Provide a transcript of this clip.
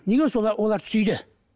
неге солар оларды сүйді